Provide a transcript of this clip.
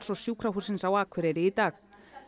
og Sjúkrahússins á Akureyri í dag